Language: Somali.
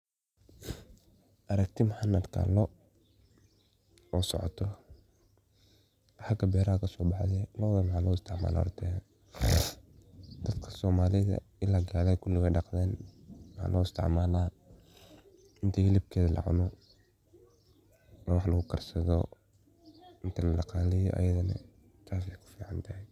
Aragti maxan arka loo oo socoto o haga beeraha kasobaxdi, lodan maxa lo istacmala horta dadka somalidha ila galada kuli way daqdan, waxa lo istacmala inta heelabkedho lacuno oo wax lugu karsadho inta ladaqaleyo ayadahna taas ay kufican tahaay.